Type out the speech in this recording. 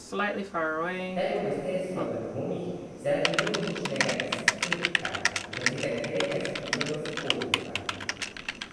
Najpogosteje so v dvomih zaradi nožničnega izcedka, zaradi katerega spijo v spodnjicah.